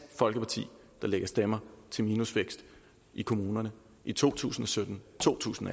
folkeparti der lægger stemmer til minusvækst i kommunerne i to tusind og sytten to tusind